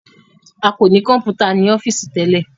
a ko ní Kọ̀ǹpútà ní ọ́fíìsì tẹlẹ